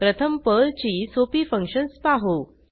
प्रथम पर्लची सोपी फंक्शन्स पाहू